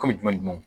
Kɔmi jumɛn ni jumɛn